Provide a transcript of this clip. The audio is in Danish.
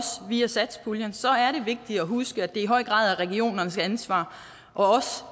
via satspuljen så er det vigtigt at huske at det i høj grad er regionernes ansvar og